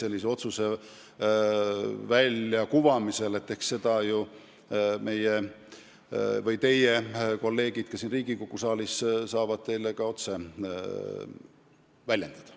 Eks seda saavad meie – või teie – kolleegid siin Riigikogu saalis teile välja pakkuda.